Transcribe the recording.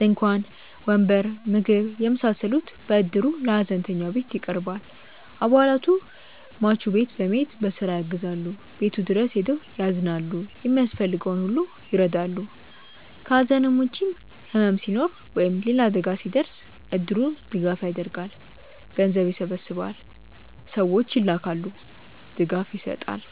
ድንኳን፣ ወንበር፣ ምግብ የመሳሰሉት በእድሩ ለሀዘንተኛው ቤት ይቀርባል። አባላቱ ሟች ቤት በመሄድ በስራ ያግዛሉ፣ ቤቱ ድረስ ሄደው ያዝናሉ፣ የሚያስፈልገውን ሁሉ ይረዳሉ። ከሐዘን ውጭም ሕመም ሲኖር ወይም ሌላ አደጋ ሲደርስ እድሩ ድጋፍ ያደርጋል። ገንዘብ ይሰበሰባል፣ ሰዎች ይላካሉ፣ ድጋፍ ይሰጣል።